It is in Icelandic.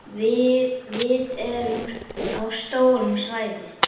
Við erum á stóru svæði.